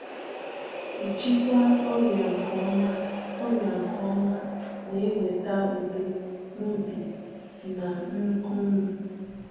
Ịchịkwa ọrịa nke ọma ọrịa nke ọma na-eweta udo n’obi na nnukwu ụnụ.